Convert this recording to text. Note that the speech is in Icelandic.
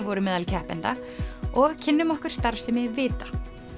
voru meðal keppenda og kynnum okkur starfsemi vita